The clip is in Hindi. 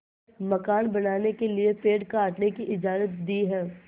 मकान बनाने के लिए पेड़ काटने की इजाज़त दी है